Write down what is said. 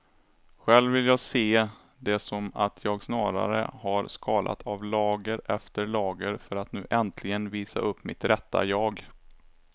Själv vill jag se det som att jag snarare har skalat av lager efter lager för att nu äntligen visa upp mitt rätta jag.